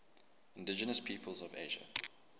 indigenous peoples of asia